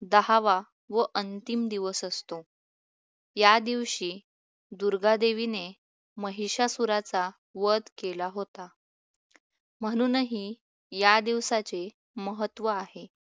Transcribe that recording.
दहावा व अंतिम दिवस असतो. या दिवशी दुर्गादेवीने महिषासुराचा वध केला होता. म्हणूनही या दिवसाचे महत्व आहे.